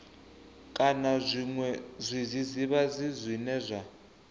kana zwiṅwe zwidzidzivhadzi zwine zwa